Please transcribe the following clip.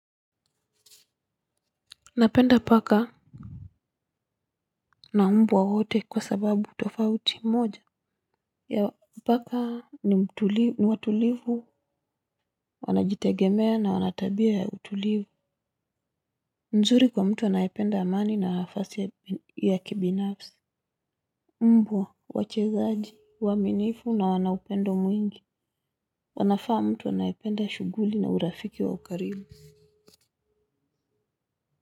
Napenda paka na mbwa wote kwa sababu tofauti moja ya paka ni watulivu wanajitegemea na wanatabia ya utulivu. Nzuri kwa mtu anayependa amani na nafasi ya kibinafsi. Mbwa wachezaji waminifu na wanaupendo mwingi. Wanafaa mtu anayependa shuguli ya urafiki wa ukarimu.